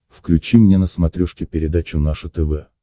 включи мне на смотрешке передачу наше тв